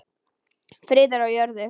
Friður á jörðu.